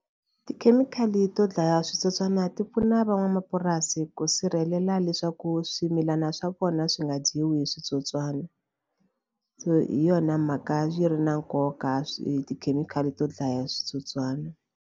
Tikhemikhali to dlaya switsotswana ti pfuna van'wamapurasi ku sirhelela leswaku swimilana swa vona swi nga dyiwi hi switsotswana so hi yona mhaka yi ri na nkoka swi tikhemikhali to dlaya switsotswana.